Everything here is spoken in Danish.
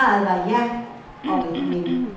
Svaret var ja og et men.